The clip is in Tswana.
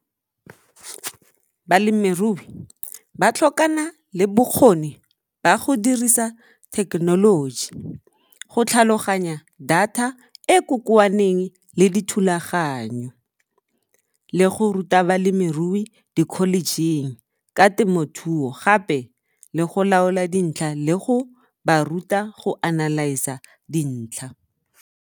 Balemirui ba tlhokana le bokgoni ba go dirisa thekenoloji, go tlhaloganya data e kokoaneng le dithulaganyo, le go ruta balemirui dikholejing ka temothuo gape le go laola dintlha le go ba ruta go analyze-a dintlha.